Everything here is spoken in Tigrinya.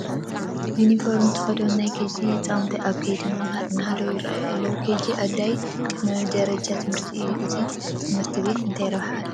ዩኒፎርም ዝተኸደኑ ናይ ኬጂ ህፃውንቲ ኣብ ከይዲ ምምሃር እናሃለዉ ይርአዩ ኣለዉ፡፡ ኬጂ ኣድላዪ ቅድመ መደበኛ ትምህቲ እዩ፡፡ እዚ ቤት ትምህርቲ እንታይ ረብሓ ኣለዎ?